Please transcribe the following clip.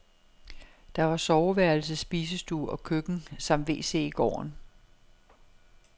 Der var soveværelse, spisestue og køkken samt wc i gården.